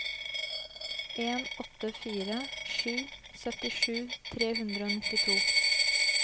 en åtte fire sju syttisju tre hundre og nittito